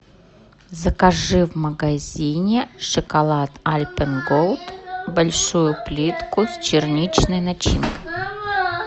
закажи в магазине шоколад альпен голд большую плитку с черничной начинкой